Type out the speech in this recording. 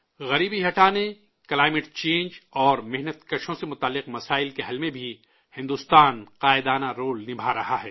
غریبی ہٹانے، ماحولیاتی تبدیلی اور مزدوروں سے متعلق مسائل کے حل میں بھی بھارت سرکردہ رول نبھاتا رہا ہے